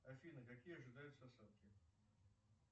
афина какие ожидаются осадки